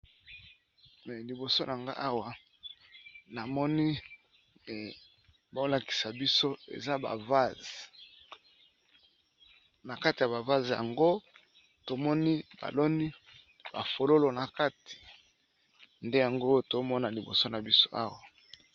Me liboso nango awa na moni eh bolakisa biso eza ba vase , na kati ya bavase yango tomoni baloni bafololo na kati. nde yango tomona liboso na biso awa.